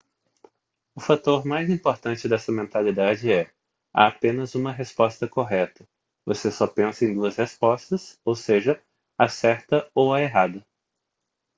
o fator mais importante dessa mentalidade é há apenas uma resposta correta você só pensa em duas respostas ou seja a certa ou a errada